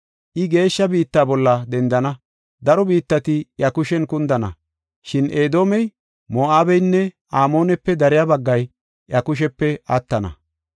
I geeshsha biitta bolla dendana; daro biittati iya kushen kundana. Shin Edoomey, Moo7abeynne Amoonepe dariya baggay iya kushepe attana.